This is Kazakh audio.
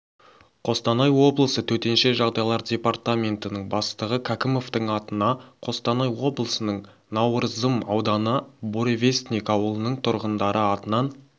қостанай облысы төтенше жағдайлар департаментінің бастығы кәкімовтің атына қостанай облысының науырзым ауданы буревестник ауылының тұрғындары атынан